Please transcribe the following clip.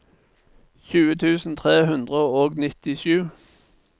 tjue tusen tre hundre og nittisju